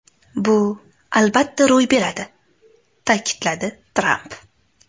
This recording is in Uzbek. Bu albatta ro‘y beradi!” ta’kidladi Tramp.